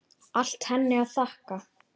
Allt henni að þakka.